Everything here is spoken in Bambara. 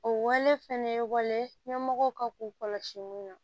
O wale fɛnɛ ye wale ɲɛmɔgɔw ka k'u kɔlɔsi mun na